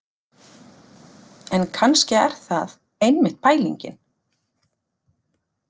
En kannski er það einmitt pælingin.